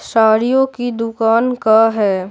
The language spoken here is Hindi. साड़ियों की दुकान का है।